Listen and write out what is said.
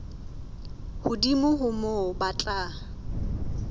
hodimo ho moo ba tla